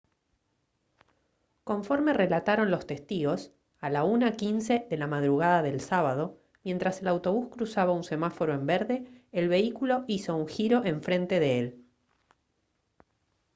conforme relataron los testigos a la 1:15 de la madrugada del sábado mientras el autobús cruzaba un semáforo en verde el vehículo hizo un giro en frente de él